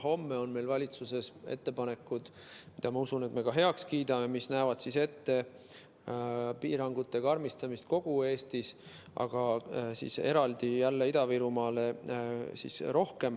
Homme on meil valitsuses ettepanekud, mille, ma usun, me ka heaks kiidame, mis näevad ette piirangute karmistamist kogu Eestis, aga eraldi jälle rohkem Ida-Virumaal.